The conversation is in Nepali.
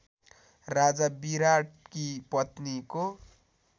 राजा विराटकी पत्नीको